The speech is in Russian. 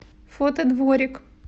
фото дворик